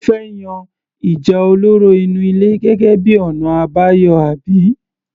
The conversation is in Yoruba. O fẹ́ yan ìjà olóró inú ilé gẹ́gẹ́ bíi ọ̀nà àbáyọ àbí?